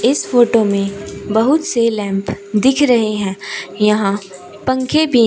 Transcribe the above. इस फोटो में बहुत से लैंप दिख रहे हैं। यहां पंखें भी --